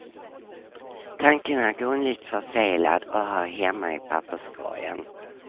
Tanken är grundligt förfelad och hör hemma i papperskorgen.